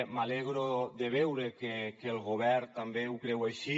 m’alegro de veure que el govern també ho creu així